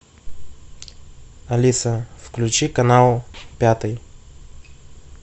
алиса включи канал пятый